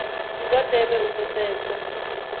ndi zwa ndeme u pfesesa